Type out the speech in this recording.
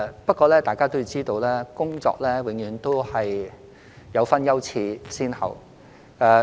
不過，大家要知道，工作必須有優次先後之分。